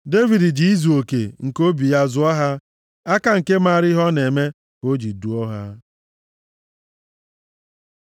Devid ji izuoke nke obi ya zụọ ha, aka nke maara ihe ọ na-eme ka o ji duo ha.